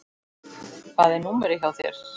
Hvað er númerið hjá þér?